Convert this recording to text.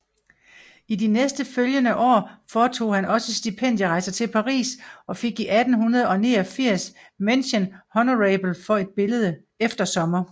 I de nærmest følgende år foretog han også stipendierejser til Paris og fik 1889 mention honorable for et billede Eftersommer